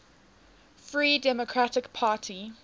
free democratic party